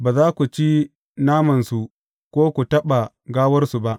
Ba za ku ci namansu ko ku taɓa gawarsu ba.